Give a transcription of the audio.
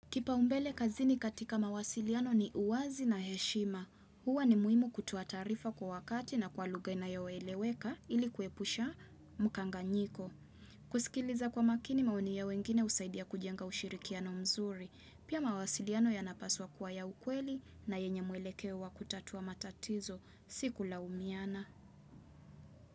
Kipaumbele kazini katika mawasiliano ni uwazi na heshima. Huwa ni muhimu kutoa taarifa kwa wakati na kwa lugha inayoeleweka ili kuepusha mkanganyiko. Kuskiliza kwa makini maoni ya wengine husaidia kujenga ushirikiano mzuri. Pia mawasiliano yanapaswa kuwa ya ukweli na yenye mwelekeo wa kutatua matatizo. Si kulaumiana.